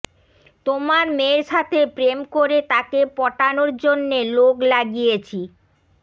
তোমার মেয়ের সাথে প্রেম করে তাকে পটানোর জন্যে লোক লাগিয়েছি